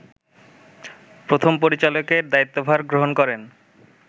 প্রথম পরিচালকের দায়িত্বভার গ্রহণ করেন